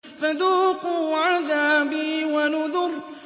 فَذُوقُوا عَذَابِي وَنُذُرِ